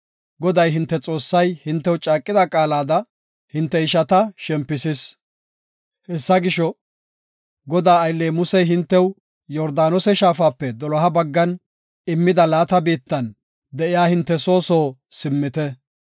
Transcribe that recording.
Goday hinte Xoossay hintew caaqida qaalada, hinte ishata shempisis. Hessa gisho, Godaa aylley Musey hintew Yordaanose shaafape doloha baggan immida, laata biittan de7iya hinte soo soo simmite.